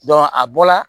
a bɔla